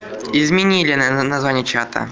изменили наверно название чата